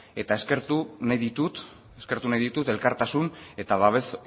eta eskertu nahi ditut elkartasun eta babes